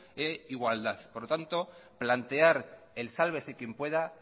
e igualdad plantear el sálvese quien pueda